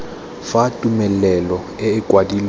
fa tumelelo e e kwadilweng